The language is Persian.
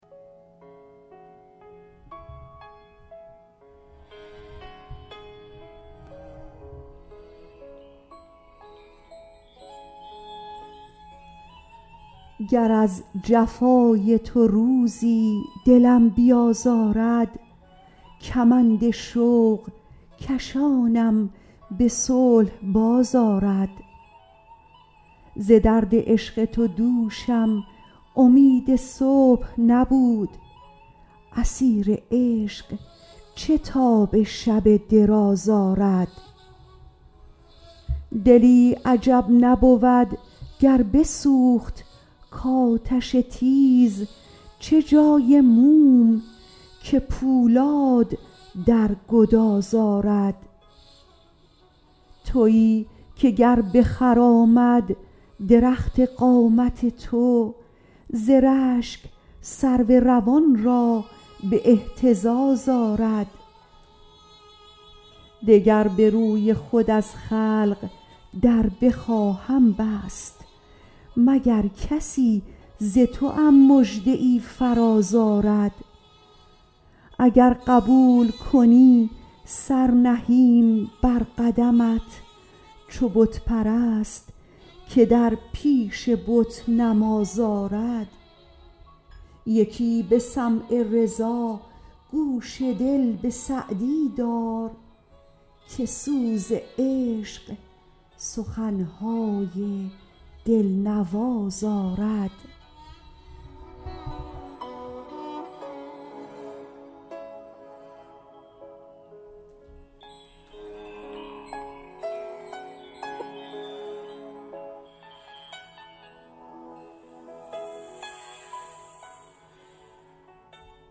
گر از جفای تو روزی دلم بیازارد کمند شوق کشانم به صلح باز آرد ز درد عشق تو دوشم امید صبح نبود اسیر عشق چه تاب شب دراز آرد دلی عجب نبود گر بسوخت کآتش تیز چه جای موم که پولاد در گداز آرد تویی که گر بخرامد درخت قامت تو ز رشک سرو روان را به اهتزاز آرد دگر به روی خود از خلق در بخواهم بست مگر کسی ز توام مژده ای فراز آرد اگر قبول کنی سر نهیم بر قدمت چو بت پرست که در پیش بت نماز آرد یکی به سمع رضا گوش دل به سعدی دار که سوز عشق سخن های دل نواز آرد